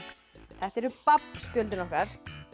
þetta eru babb spjöldin okkar